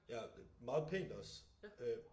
Ja meget pænt også øh